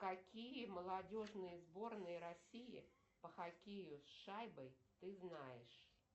какие молодежные сборные россии по хоккею с шайбой ты знаешь